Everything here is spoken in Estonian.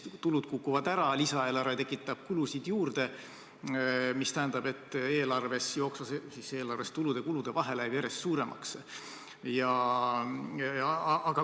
Tulud kukuvad ära, lisaeelarve tekitab kulusid juurde, mis tähendab, et jooksvas eelarves tulude ja kulude vahe läheb järjest suuremaks.